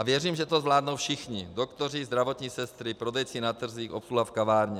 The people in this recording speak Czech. A věřím, že to zvládnou všichni - doktoři, zdravotní sestry, prodejci na trzích, obsluha v kavárně.